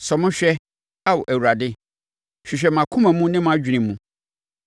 Sɔ me hwɛ, Ao Awurade, hwehwɛ mʼakoma ne mʼadwene mu.